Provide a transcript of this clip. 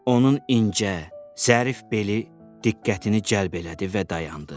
Onun incə, zərif beli diqqətini cəlb elədi və dayandı.